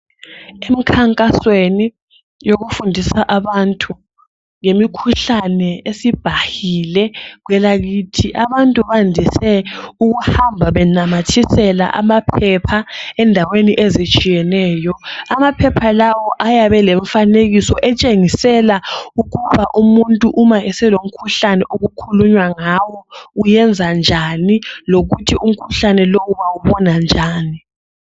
Emkhankasweni yokufundisa abantu ngemikhuhlane esibhahile kwelakithi. Abantu bandise ukuhamba benamathisela amaphepha endaweni ezitshiyeneyo. Amaphepha lawa ayabe elomfanekiso etshengisela ukuba umuntu nxa eselomkhuhlane omukhulunywa ngawo uyenza njani, lokuthi umkhuhlane lowu bawubona njani.